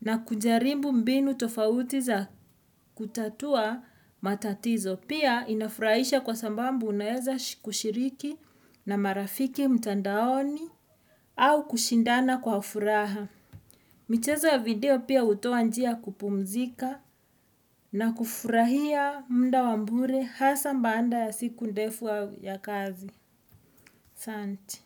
na kujaribu mbinu tofauti za kutatua matatizo. Pia inafurahisha kwa sababu unaeza kushiriki na marafiki mtandaoni au kushindana kwa furaha. Michezo ya video pia hutoa njia ya kupumzika na kufurahia muda wa bure hasa baada ya siku ndefu ya kazi. Asante.